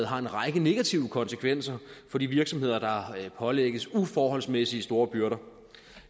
har en række negative konsekvenser for de virksomheder der pålægges uforholdsmæssig store byrder